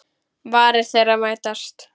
Varir þeirra mætast.